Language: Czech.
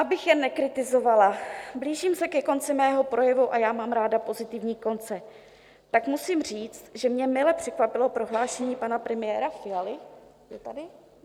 Abych jen nekritizovala, blížím se ke konci svého projevu, a já mám ráda pozitivní konce, tak musím říct, že mě mile překvapilo prohlášení pana premiéra Fialy - je tady...